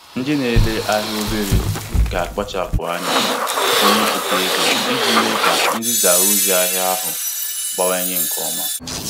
Ndị na-ere obere ahịa, ga akpachapụ anya kenyepụta ego iji mee ka nzisa ozi ahịa ahụ gawanye nke ọma.